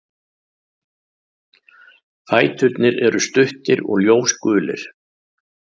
Fæturnir eru stuttir og ljósgulir.